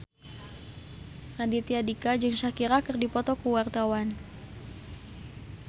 Raditya Dika jeung Shakira keur dipoto ku wartawan